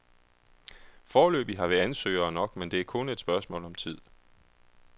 Foreløbig har vi ansøgere nok, men det er kun et spørgsmål om tid.